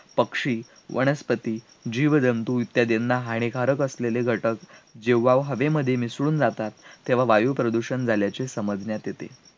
पक्षी, वनस्पती, जीवजंतू इत्यादींना हानिकारक असलेले घटक जेव्हा हवेमध्ये मिसळून जातात, तेव्हा वायुप्रदूषण झाल्याचे समजण्यात येते